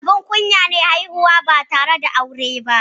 Abun kunya ne haihuwa ba tare da aure ba.